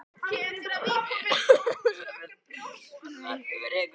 Að bera höfuð og herðar yfir einhvern